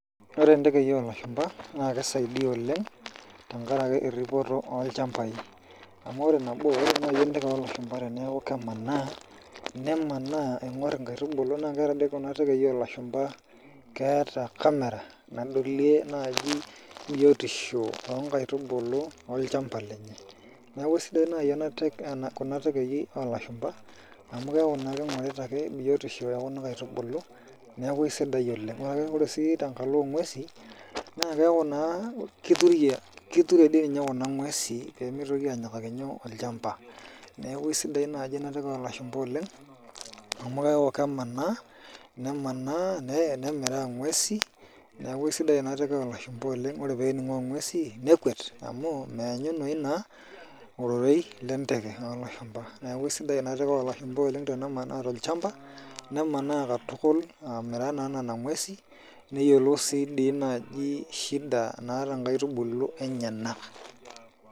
Ore ntekei olashumpa na kisaidia oleng, tenkaraki erripoto olchambai. Amu ore nabo, ore nai enteke olashumpa teneeku kemanaa, nemanaa aing'or inkaitubulu na ore di kuna tekei olashumpa keeta camera nadolie naji biotisho onkaitubulu olchamba lenye. Neeku sidai nai ena kuna tekei olashumpa, amu keeku naa king'orita ake biotisho ekuna kaitubulu, neeku aisidai oleng. Ore ake si tenkalo ong'uesi, na keeku naa kiture di ninye kuna ng'uesi pemitoki anyikaki nyoo, olchamba. Neeku aisidai naji inateke olashumpa oleng, amu keeku kemanaa, nemanaa nemiraa ng'uesi. Neeku esidai inateke olashumpa amu ore pening'oo ng'uesi, nekuet amu meenyunoyu naa ororei lenteke olashumpa. Neeku aisidai inateke olashumpa oleng tenemanaa tolchamba, nemanaa katukul amiraa naa nena ng'uesi, neyiolou si di naji shida naata nkaitubulu enyanak.